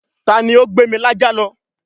ta ni ó gbé mi lájá lọ?